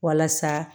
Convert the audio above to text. Walasa